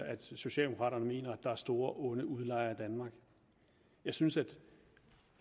socialdemokraterne mener at der er store onde udlejere i danmark jeg synes at